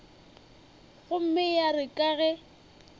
gomme ya re ka ge